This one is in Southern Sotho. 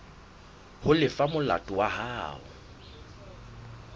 ho lefa molato wa hao